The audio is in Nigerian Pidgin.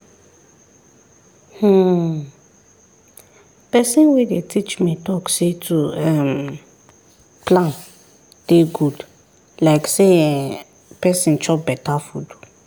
hmm person wey dey teach me talk say to um plan dey good like say[um]person chop beta food